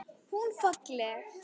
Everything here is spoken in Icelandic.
Hún falleg.